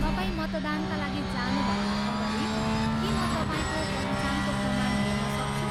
तपाईँ मतदानका लागि जानुभन्दा अगाडि के म तपाईँको पहिचानको प्रमाण हेर्नसक्छु?